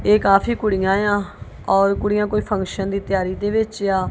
ਇਹ ਕਾਫੀ ਕੁੜੀਆਂ ਆਂ ਔਰ ਕੁੜੀਆਂ ਕੋਈ ਫੰਕਸ਼ਨ ਦੀ ਤਿਆਰੀ ਦੇ ਵਿੱਚ ਆਂ।